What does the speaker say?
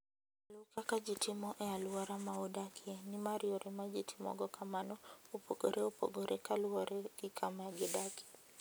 Luw kaka ji timo e alwora ma udakie, nimar yore ma ji timogo kamano opogore opogore kaluwore gi kama gidakie.